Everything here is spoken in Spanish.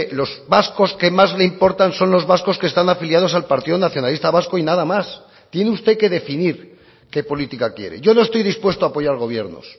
los vascos que más le importan son los vascos que están afiliados al partido nacionalista vasco y nada más tiene usted que definir qué política quiere yo no estoy dispuesto a apoyar gobiernos